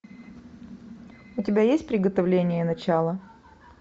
у тебя есть приготовление начало